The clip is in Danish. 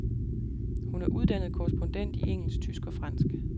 Hun er uddannet korrespondent i engelsk, tysk og fransk.